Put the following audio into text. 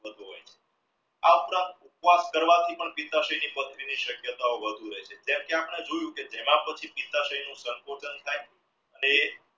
આ ઉપરાંત ઉપવાસ કરવાથી પણ ની શક્યતાઓ વધુ રહે છે જેમ કે આપણે જોયો કે તે